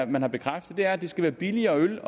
man har bekræftet at der skal være billigere øl